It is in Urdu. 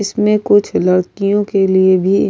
اسمے کچھ لادکیو کے لئے بھی --